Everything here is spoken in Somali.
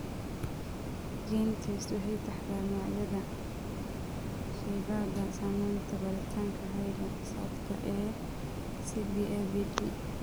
GeneTests waxay taxdaa magacyada shaybaadhada samaynaysa baaritaanka hidda-socodka ee CBAVD.